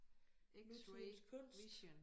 X-ray vision